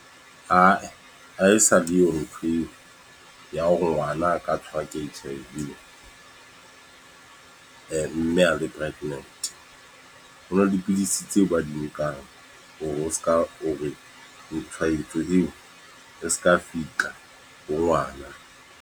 Ae, ha e sa leyo ntho eo. Ya hore ngwana a ka tshwarwa ke H_I_V mme a le pregnant. Hona le dipidisi tseo ba di nkang, ho re o seka o re tshwaetso eo e seka fihla ho ngwana.